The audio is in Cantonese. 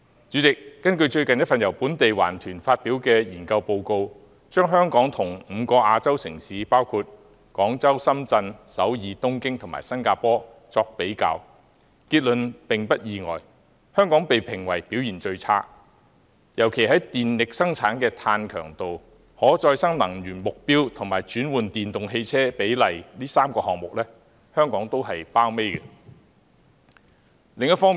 主席，根據最近一份由本地環保團體發表的研究報告，把香港與5個亞洲城市，包括廣州、深圳、首爾、東京和新加坡作比較，結論並不意外，香港被評為表現最差，尤其在電力生產的碳強度、轉用可再生能源的目標及轉換電動汽車的比例這3個項目上，香港均排榜尾。